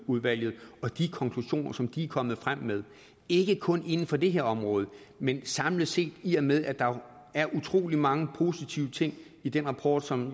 udvalget og de konklusioner som de er kommet frem med ikke kun inden for det her område men samlet set i og med at der er utrolig mange positive ting i den rapport som